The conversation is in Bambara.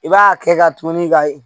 I b'a kɛ ka tuguni ka